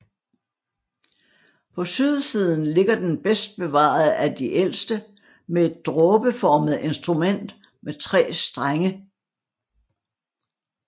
På sydsiden sidder den bedst bevarede af de ældste med et dråbeformet instrument med 3 strenge